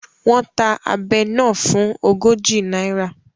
Wọ́n ta abẹ náà fún ogójì náírà